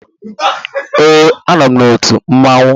Ee, anọ m n'otu mmanwụ.